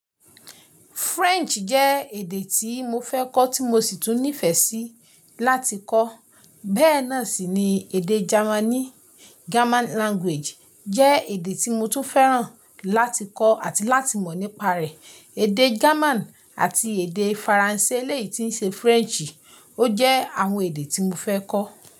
French jẹ́ èdè tí mo fẹ́ kọ́ tí mo sì tún nífẹ̀ẹ́ sí láti kọ́. Bẹ́ẹ̀ náà sì ni èdè Germany, German Language jẹ́ èdè tí mo tún fẹ́ràn láti kọ́ àti láti mọ̀ nípa rẹ̀. Èdè German àti èdè Faransé eléyìí tí ń ṣe French, ó jẹ́ àwọn èdè tí mo fẹ́ kọ́.